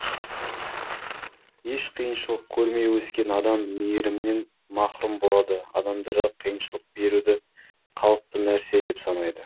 еш қиыншылық көрмей өскен адам мейірімнен махрұм болады адамдарға қиыншылық беруді қалыпты нәрсе деп санайды